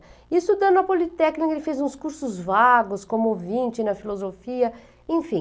E estudando a Politécnica, ele fez uns cursos vagos, como ouvinte na filosofia, enfim.